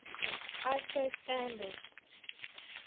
iso standards